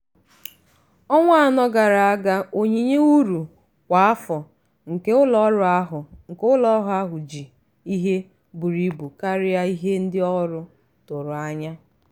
ọnwa anọ gara aga onyinye uru kwa afọ nke ụlọọrụ ahụ nke ụlọọrụ ahụ ji ihe buru ibu karịa ihe ndị ọrụ tụrụ anya ya.